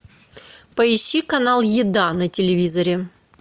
поищи канал еда на телевизоре